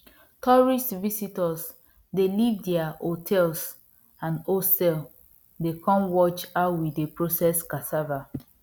tourist visitors dey leave their hotels and hostel dey come watch how we process cassava